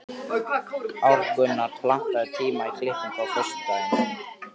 Arngunnur, pantaðu tíma í klippingu á föstudaginn.